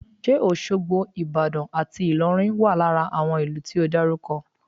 Ṣe Òṣogbo, Ìbàdàn àti Ìlọrin wà lára ìlú tí o dárúkọ?